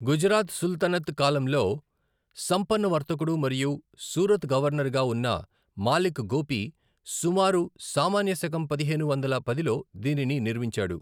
గుజరాత్ సుల్తనత్ కాలంలో సంపన్న వర్తకుడు మరియు సూరత్ గవర్నర్గా ఉన్న మాలిక్ గోపి సుమారు సామాన్య శకం పదిహేను వందల పదిలో దీనిని నిర్మించాడు.